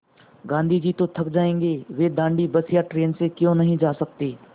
गाँधी जी तो थक जायेंगे वे दाँडी बस या ट्रेन से क्यों नहीं जा सकते